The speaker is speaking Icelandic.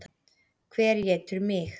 Hver étur mig?